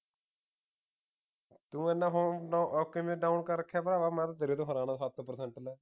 ਤੂੰ ਏਨਾ phone ਕਿਵੇਂ down ਕਰ ਰੱਖਦੇ ਆ ਭਰਾਵਾ ਮੈਂ ਤੇਰੇ ਤੋਂ ਹੈਰਾਨ ਆਂ ਸਤ percent ਤੈ